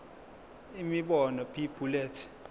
imibono b bullets